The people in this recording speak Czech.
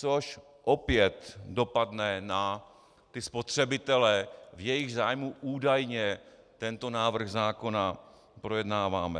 Což opět dopadne na ty spotřebitele, v jejichž zájmu údajně tento návrh zákona projednáváme.